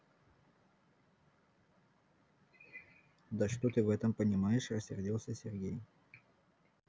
да что ты в этом понимаешь рассердился сергей